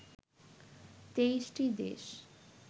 ২৩ টি দেশ